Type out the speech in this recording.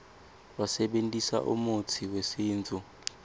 basebentisa umutsi wesintfu